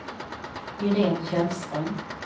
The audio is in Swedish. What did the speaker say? Irene Källström